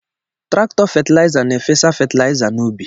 Trakọ fetiliza na-efesasi fetiliza n'ubi